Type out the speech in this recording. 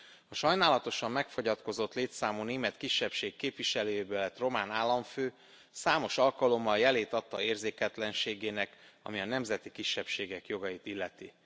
A sajnálatosan megfogyatkozott létszámú német kisebbség képviselőjéből lett román államfő számos alkalommal jelét adta érzéketlenségének, ami a nemzeti kisebbségek jogait illeti.